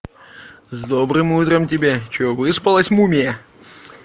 с добрым утром тебя что выспалась мумия